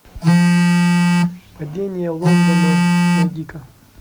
падение лондона найди ка